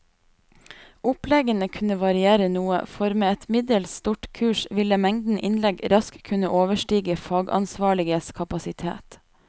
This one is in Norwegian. Oppleggene kunne variere noe, for med et middels stort kurs ville mengden innlegg raskt kunne overstige fagansvarliges kapasitet.